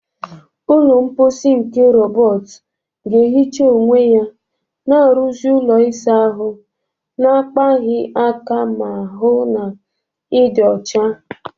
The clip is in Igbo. Ụlọ mposi nke rọbọt ga-ehicha onwe ya, na-arụzi ụlọ ịsa ahụ na-akpaghị aka ma hụ na ịdị ọcha